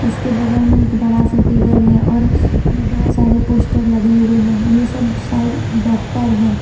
इसके बगल में एक बड़ा सा टेबल है और बहुत सारे पोस्टर लगे हुए हैं ये सब शायद डॉक्टर है।